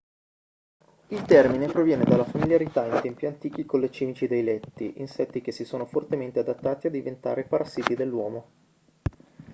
il termine proviene dalla familiarità in tempi antichi con le cimici dei letti insetti che si sono fortemente adattati a diventare parassiti dell'uomo